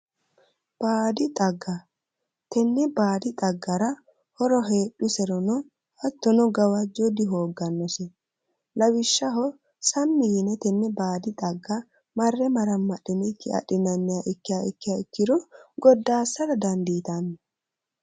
Baadi xagga tenne baadi xaggara horo heedhuserono hattono gawajjo dihooggannose lawishshaho sammi yine tenne baadi xagga marre marammadhinikki adhiniha ikkiha ikkiya ikkiro goddaassara dandiitanno.